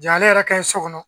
Ja ale yɛrɛ ka ɲi so kɔnɔ